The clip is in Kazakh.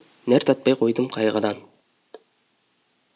нәр татпай қойдым қайғыдан